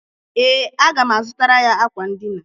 Ee, aga m azụtara ya akwa ndịna.